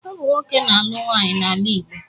Ọ bụ nwoke na-alụ nwaanyị n'ala Igbo.